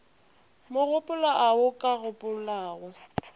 magolo ao a ka kgopelago